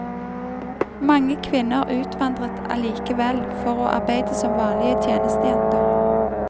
Mange kvinner utvandret allikevel for å arbeide som vanlige tjenestejenter.